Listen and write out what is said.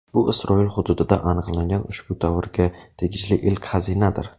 Bu Isroil hududida aniqlangan ushbu davrga tegishli ilk xazinadir.